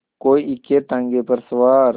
कोई इक्केताँगे पर सवार